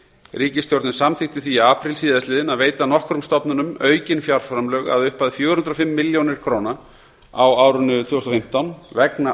ríkisstjórnin samþykkti því í apríl síðastliðnum að veita nokkrum stofnunum aukin fjárframlög að upphæð fjögur hundruð og fimm milljónir króna á árinu tvö þúsund og fimmtán vegna